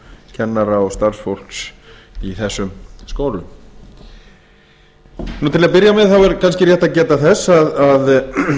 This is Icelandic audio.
kennara og starfsfólks í þessum skólum til að byrja með er kannski rétt að geta þess að